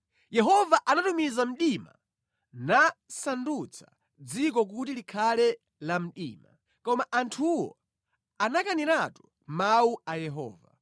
Yehova anatumiza mdima nasandutsa dziko kuti likhale la mdima. Koma anthuwo anakaniratu mawu a Yehova.